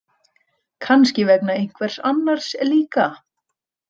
Kannski vegna einhvers annars líka.